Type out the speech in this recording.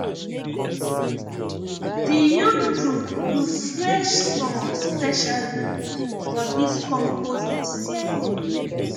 the youth group do fresh song specially for this compost season